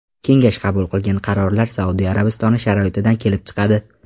Kengash qabul qilgan qarorlar Saudiya Arabistoni sharoitidan kelib chiqadi.